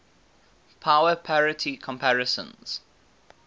power parity comparisons